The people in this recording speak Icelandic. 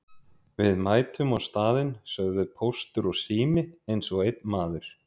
Við mætum á staðinn sögðu Póstur og Sími eins og einn maður.